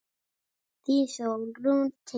Þín Sólrún Tinna.